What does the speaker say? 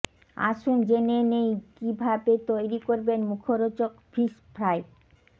আসুন জেনে নেই কীভাবে তৈরি করবেন মুখরোচক ফিশ ফ্রাই